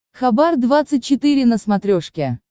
хабар двадцать четыре на смотрешке